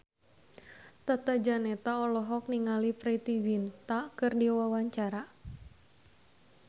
Tata Janeta olohok ningali Preity Zinta keur diwawancara